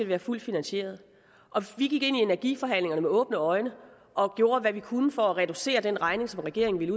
være fuldt finansieret vi gik ind i energiforhandlingerne med åbne øjne og gjorde hvad vi kunne for at reducere den regning som regeringen ville